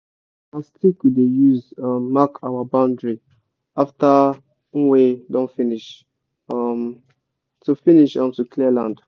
na stick we dey use mark our boundary after nwe don finish to clear land